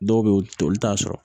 Dɔw bɛ yen olu t'a sɔrɔ